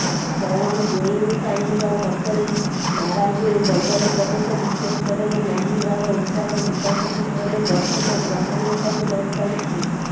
ପୱନ୍ ଗୋଏଙ୍କାଙ୍କ ମତରେ ମାରାଜୋର ବଜାର ପ୍ରବେଶ ବିଶ୍ୱ ସ୍ତରରେ ମହିନ୍ଦ୍ରାର ଉତ୍ପାଦ ବିକାଶ କ୍ଷେତ୍ରରେ ବର୍ଦ୍ଧିତ ଗ୍ରହଣୀୟତାକୁ ଦର୍ଶାଉଛି